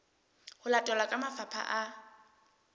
ho latelwa ke mafapha a